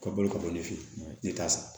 Ka balo ka bɔ ne fe yen ne t'a san